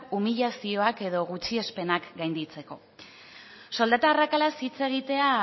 umilazioak edo gutxiespenak gainditzeko soldata arrakalaz hitz egitea